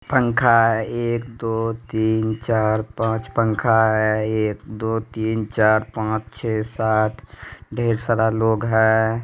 पंखा एक दो तीन चार पाँच पंखा है| एक दो तीन चार पाँच छे सात ढेर सारा लोग है।